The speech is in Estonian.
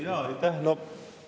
Jaa, aitäh!